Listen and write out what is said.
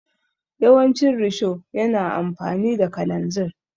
Yawancin risho yana amfani da kalanzir.